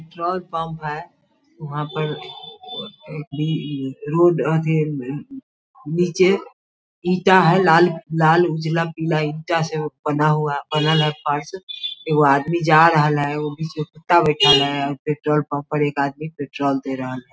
Petrol pump है वह पर एक बी रोड आती है न नीचे ईटा है लाल-लाल पीला ईटा से वो बना हुआ बना एगो आदमी जा रहा ले वो पीछे कुत्ता बैठा ले पेट्रोल पम्प पर एक अदनी पेट्रोल ड़े रहा है।